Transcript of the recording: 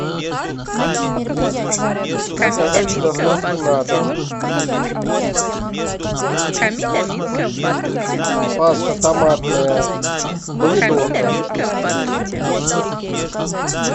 заказать с доставкой на дом паста томатная помидорка